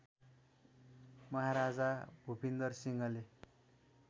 महाराजा भुपिन्दर सिंहले